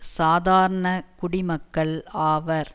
சாதாரண குடிமக்கள் ஆவர்